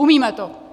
Umíme to.